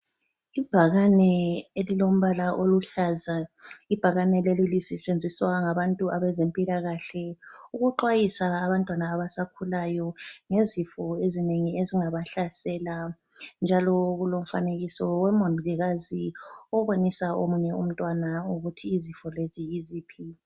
Ibhakane elilombala oluhlaza, ibhakane leli kusetshenziswa ngabantu abezempilakahle ukuxhwayisa abantwana abasakhulayo ngezifo ezinengi ezingabahlasela. Njalo kulomfanekiso womongikazi obonisa omunye umntwana ukuthi izifo lezi yiziphi.